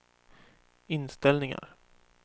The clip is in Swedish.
inställningar